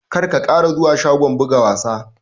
Kar ka ƙara zuwa shagon buga wasa!